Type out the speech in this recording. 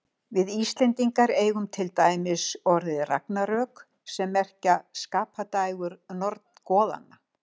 Við Íslendingar eigum til dæmis orðið ragnarök, sem merkir skapadægur goðanna.